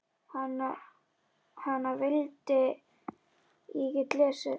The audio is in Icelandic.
Hana vildi ég geta lesið.